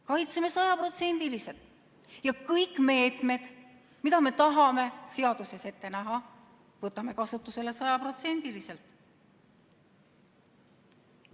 Kaitseme sajaprotsendiliselt ja kõik meetmed, mida me tahame seaduses ette näha, võtame kasutusele sajaprotsendiliselt.